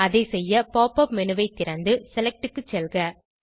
அதை செய்ய pop up menu ஐ திறந்து செலக்ட் க்கு செல்க